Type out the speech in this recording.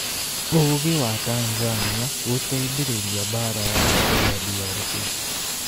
Ũgĩ wa Tanzania gũteithĩrĩria mbaara ya Ebola DRC